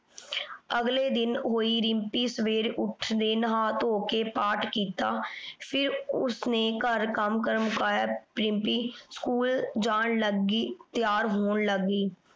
ਅਗਲੇ ਦਿਨ ਹੋਈ ਰਿਮਪੀ ਸਵੇਰੇ ਉਠ ਦੇ ਨਹਾ ਧੋ ਕੇ ਪਾਠ ਕੀਤਾ ਫੇਰ ਓਸਨੇ ਘਰ ਕਰ ਮੁਕਾਇਆ। ਰਿਮਪੀ ਸਕੂਲ ਜਾਨ ਲੱਗ ਗਈ ਤਿਆਰ ਹੋਣ ਲਾਗ ਗਈ।